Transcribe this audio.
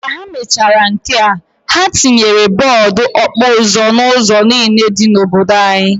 Ka ha mechara nkea, ha tinyere bọọbụ okpuzo n'ụzọ niine dị n'obodo anyi.